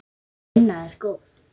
Sú vinna er góð.